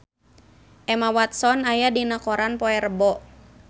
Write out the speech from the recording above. Emma Watson aya dina koran poe Rebo